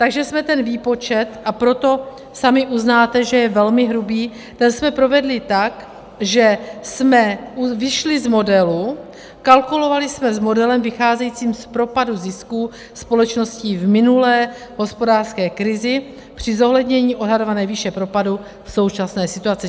Takže jsme ten výpočet, a proto sami uznáte, že je velmi hrubý, ten jsme provedli tak, že jsme vyšli z modelu, kalkulovali jsme s modelem vycházejícím z propadu zisků společností v minulé hospodářské krizi při zohlednění odhadované výše propadu v současné situaci.